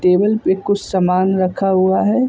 Table पे कुछ सामान रखा हुआ है ।